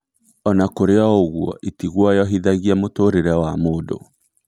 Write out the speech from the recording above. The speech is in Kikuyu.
Ona kũrĩ oũguo, itiguoyohithagia mũtũrĩre wa mũndũ